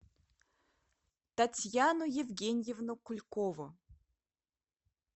татьяну евгеньевну кулькову